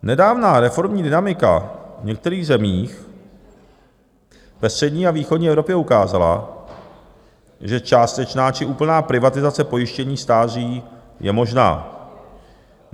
Nedávná reformní dynamika v některých zemích ve střední a východní Evropě ukázala, že částečná či úplná privatizace pojištění stáří je možná.